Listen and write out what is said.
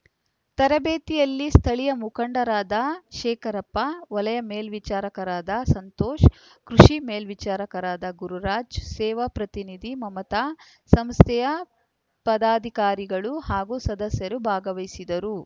ತರಬೇತಿಯಲ್ಲಿ ಸ್ಥಳೀಯ ಮುಖಂಡರಾದ ಶೇಖರಪ್ಪ ವಲಯ ಮೇಲ್ವಿಚಾರಕರಾದ ಸಂತೋಷ ಕೃಷಿ ಮೇಲ್ವಿಚಾರಕರಾದ ಗುರುರಾಜ್‌ ಸೇವಾ ಪ್ರತಿನಿಧಿ ಮಮತಾ ಸಂಸ್ಥೆಯ ಪದಾಧಿಕಾರಿಗಳು ಹಾಗೂ ಸದಸ್ಯರು ಭಾಗವಹಿಸಿದ್ದರು